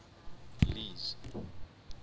lee's